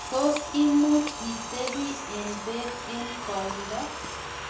tos imuch itebi eng' beek eng' koindo?